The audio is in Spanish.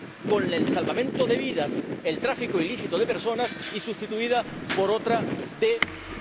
más, con el salvamento de vidas, el tráfico ilícito de personas, y sustituirla por otra de